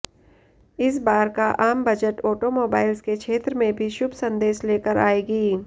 इस बार का आम बजट ऑटोमोबाइल्स के क्षेत्र में भी शुभ संदेश लेकर आएगी